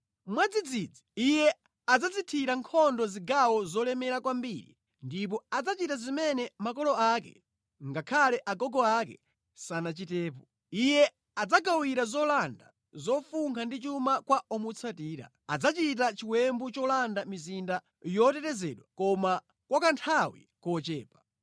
Mwadzidzidzi, iye adzazithira nkhondo zigawo zolemera kwambiri ndipo adzachita zimene makolo ake ngakhale agogo ake sanachitepo. Iye adzagawira zolanda, zofunkha ndi chuma kwa omutsatira. Adzachita chiwembu cholanda mizinda yotetezedwa koma kwa kanthawi kochepa.